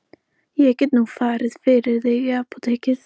Ég get nú farið fyrir þig í apótekið.